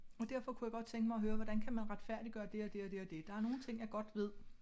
Og derfor kunne jeg godt tænke mig at høre hvordan kan man retfærdiggøre det og det og det og det der er nogle ting jeg godt ved